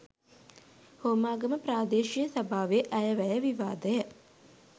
හෝමාගම ප්‍රාදේශීය සභාවේ අයවැය විවාදය